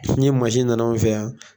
Ni mansin nana anw fɛ yan